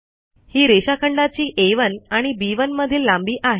ही रेषाखंडाची आ1 आणि बी1 मधील लांबी आहे